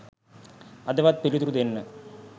අදවත් පිළිතුරු දෙන්න.